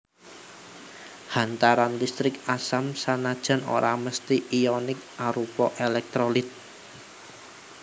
Hantaran listrik asam sanajan ora mesthi ionik arupa èlèktrolit